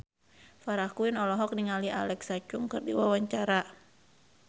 Farah Quinn olohok ningali Alexa Chung keur diwawancara